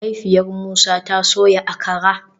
Mahaifiyar Musa ta soya Akara